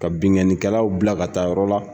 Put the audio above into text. Ka binkannikɛlaw bila ka taa yɔrɔ la